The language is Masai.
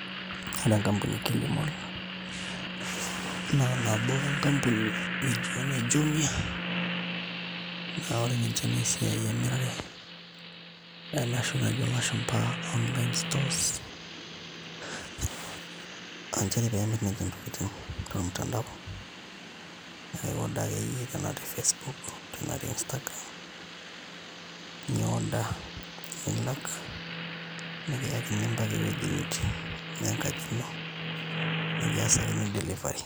Ore enkampuni e Kilimal naa nabo o enkampuni nijio ene Jumia naa ore ninche naa esiai emirare ena oshi najo ilashumba online stores aa nchere pee emirr ninche ntokitin tormutandao naa aiorder akeyie ena te facebook enaa te instagram ni order , nilak nikiyakini mpaka ewueji nitii enaa enkaji ino nikiasakini delivery.